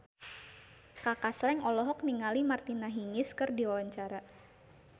Kaka Slank olohok ningali Martina Hingis keur diwawancara